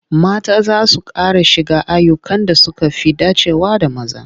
Mata za su ƙara shiga ayyukan da suka fi dacewa da maza.